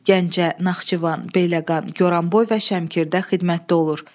Gəncə, Naxçıvan, Beyləqan, Goranboy və Şəmkirdə xidmətdə olur.